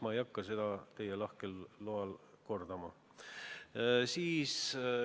Teie lahkel loal ei hakka ma seda kordama.